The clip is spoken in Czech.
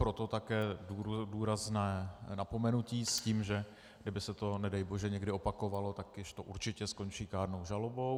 Proto také důrazné napomenutí s tím, že kdyby se to nedej bože někdy opakovalo, tak již to určitě skončí kárnou žalobou.